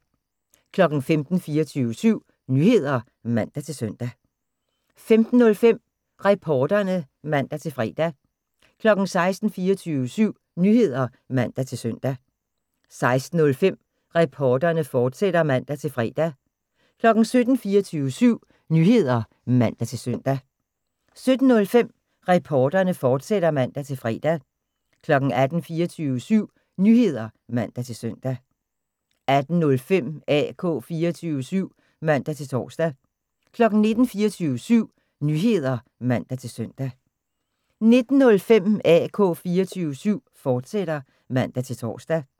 15:00: 24syv Nyheder (man-søn) 15:05: Reporterne (man-fre) 16:00: 24syv Nyheder (man-søn) 16:05: Reporterne, fortsat (man-fre) 17:00: 24syv Nyheder (man-søn) 17:05: Reporterne, fortsat (man-fre) 18:00: 24syv Nyheder (man-søn) 18:05: AK 24syv (man-tor) 19:00: 24syv Nyheder (man-søn) 19:05: AK 24syv, fortsat (man-tor)